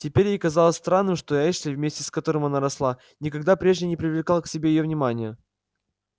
теперь ей казалось странным что эшли вместе с которым она росла никогда прежде не привлекал к себе её внимания